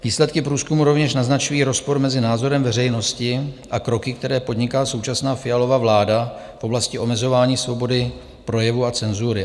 Výsledky průzkumu rovněž naznačují rozpor mezi názorem veřejnosti a kroky, které podniká současná Fialova vláda v oblasti omezování svobody projevu a cenzury.